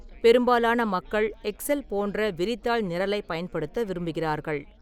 பெரும்பாலான மக்கள் எக்செல் போன்ற விரிதாள் நிரலைப் பயன்படுத்த விரும்புகிறார்கள்.